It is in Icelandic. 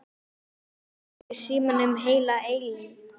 Agnes liggur í símanum heila eilífð.